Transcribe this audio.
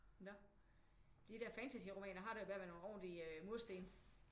Nå de der fantasy romaner har det jo med at være nogle ordentlige mursten